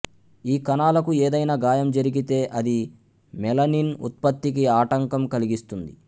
ఈ కణాలకు ఏదైనా గాయం జరిగితే అది మెలనిన్ ఉత్పత్తికి ఆటంకం కలిగిస్తుంది